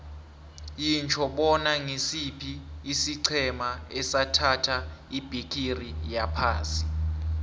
yitjho bona ngisiphi isiqhema esathatha ibhigiri yephasi